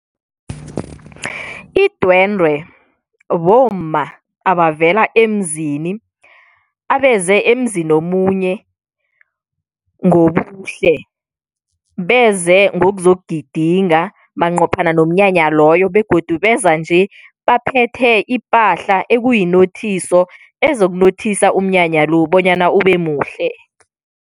Idwendwe bomma abavela emzini abeze emzini omunye ngobuhle, beze ngokuzokugidinga manqophana nomnyanya loyo begodu beza nje baphethe ipahla ekuyi nothiso ezokunothisa umnyanya lo bonyana ubemuhle.